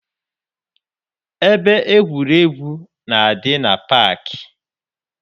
Ebe egwuregwu na-adị na paakị.